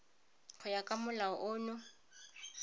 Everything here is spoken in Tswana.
go ya ka molao ono